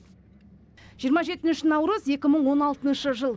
жиырма жетінші наурыз екі мың он алтыншы жыл